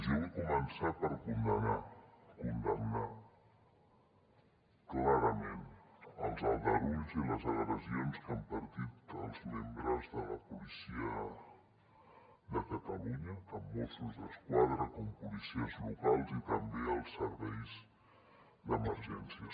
jo vull començar per condemnar clarament els aldarulls i les agressions que han patit els membres de la policia de catalunya tant mossos d’esquadra com policies locals i també els serveis d’emergència